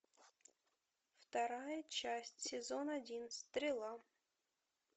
вторая часть сезон один стрела